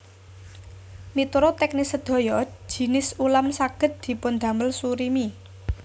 Miturut teknis sedaya jinis ulam saged dipundamel surimi